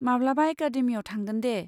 माब्लाबा एकादेमियाव थांगोन दे!